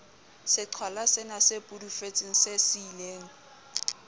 seqhwalasena se pudufetseng se siileng